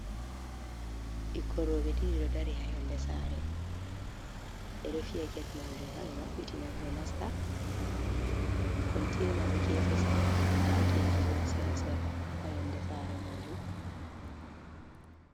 Ɓikkoi roɓe ɗiɗi ɗo dari ha yonde sare, ɓeɗo fiya get majum ha ɓe mabɓitina ɓe, ɓenasta kontena ɗo gefe sare mai nda gene bo sera-sera ha yonde sare majum.